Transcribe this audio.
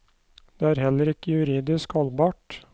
Det er heller ikke juridisk holdbart.